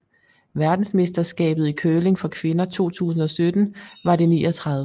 Verdensmesterskabet i curling for kvinder 2017 var det 39